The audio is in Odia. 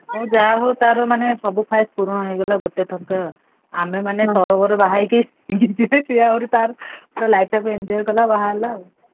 ହଉ ଯାହା ହଉ ତାର ମାନେ ସବୁ ख्वाइश ପୂରଣ ହେଇଗଲା ଗୋଟେ ଥରକେ ଆଉ। ଆମେ ମାନେ ତରବର ବାହାହେଇକି ସେ ତାର life ଟାକୁ enjoy କଲା ବାହା ହେଲା ଆଉ।